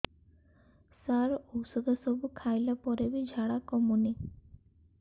ସାର ଔଷଧ ସବୁ ଖାଇଲା ପରେ ବି ଝାଡା କମୁନି